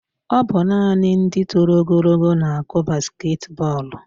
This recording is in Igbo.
Ọ bụ naanị ndị toro ogologo na-akụ basketi bọọlụ